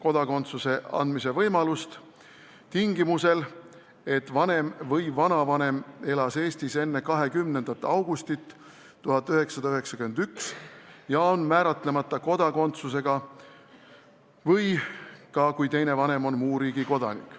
Seejuures kehtib tingimus, et üks vanem või vanavanem elas Eestis enne 20. augustit 1991 ja on määratlemata kodakondsusega ning teine vanem on muu riigi kodanik.